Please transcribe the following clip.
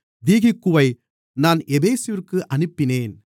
தீகிக்குவை நான் எபேசுவிற்கு அனுப்பினேன்